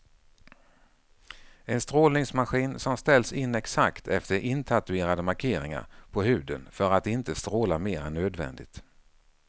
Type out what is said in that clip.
En strålningsmaskin som ställs in exakt efter intatuerade markeringar på huden för att inte stråla mer än nödvändigt.